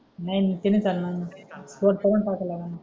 नाही नाही ते नाही चालणार तोंड पाठवल्याने